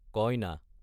কইনা